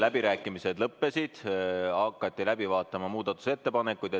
Läbirääkimised lõppesid ja hakati läbi vaatama muudatusettepanekuid.